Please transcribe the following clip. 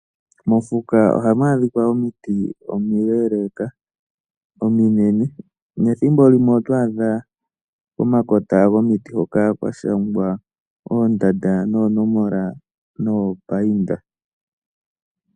Mofuka ohamu adhika omiti omiileleka ,ominene nethimbo limwe oto adha pomakota gomiti hoka kwa shangwa oondanda noonomola noopainda.